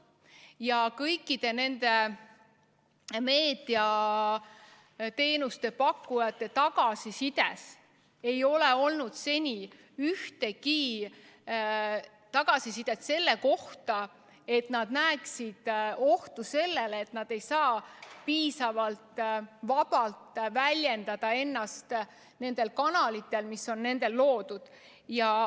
Ja mitte ühegi meediateenuse pakkuja tagasisides ei ole olnud seni ühtegi viidet selle kohta, et nad näeksid ohtu, et nad ei saa edaspidi ennast enam piisavalt vabalt väljendada nendel kanalitel, mille nad on loonud.